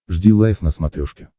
жди лайв на смотрешке